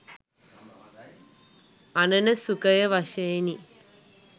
අණන සුඛය වශයෙනි.